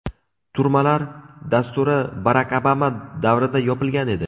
Turmalar dasturi Barak Obama davrida yopilgan edi.